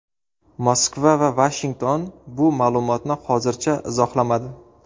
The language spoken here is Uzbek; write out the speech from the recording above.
Moskva va Vashington bu ma’lumotni hozircha izohlamadi.